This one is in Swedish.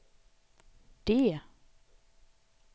D